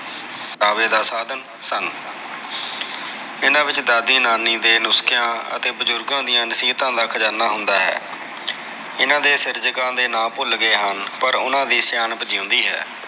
ਪ੍ਰਗਟਾਵੇ ਦਾ ਸਾਧਨ ਸਨ ਇਹਨਾ ਵਿਚ ਦਾਦੀ ਨਾਨੀ ਦੇ ਨੁਸਖਿਆ ਅਤੇ ਬਜੁਰਗਾ ਦੀਆ ਨਸੀਹਤਾ ਦਾ ਖਜਾਨਾ ਹੁੰਦਾ ਹੈ ਇਹਨਾ ਦੇ ਸਿਰਜਕਾ ਦੇ ਨਾ ਭੁਲ ਗਏ ਹਨ ਪਰ ਓਹਨਾ ਦੀ ਸਿਆਣਪ ਜਿਉਂਦੀ ਹੈ